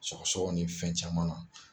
Sɔgɔsɔgɔ ni fɛn caman na.